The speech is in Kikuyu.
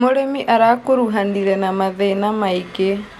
Mũrĩmi arakuruhanire na mathĩna maingĩ.